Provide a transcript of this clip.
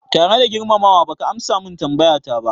Tare da girmama wa, baka amsa min tambayata ba